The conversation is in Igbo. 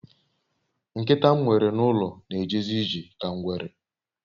Nkita m nwere n'ulo n'ejezi ije ka ngwere